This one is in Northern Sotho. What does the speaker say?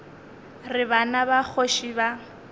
re bana ba kgoši ba